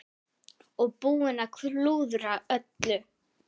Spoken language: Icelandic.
Og búinn að klúðra öllu!